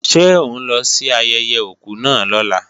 Ṣé ó ń lọ sí ayẹyẹ òkú náà lọ́la?